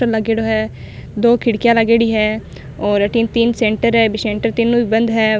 Poster लागेड़ो है दो खिड़किया लागेड़ी है और अथीन तीन सेंटर है अभी सेंटर तीनो ही बंद है।